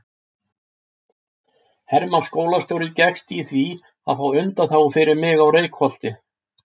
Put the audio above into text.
Hermann skólastjóri gekkst í því að fá undanþágu fyrir mig á Reykholti.